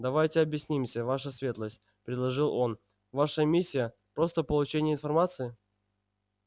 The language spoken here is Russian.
давайте объяснимся ваша светлость предложил он ваша миссия просто получение информации